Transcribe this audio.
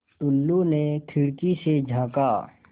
टुल्लु ने खिड़की से झाँका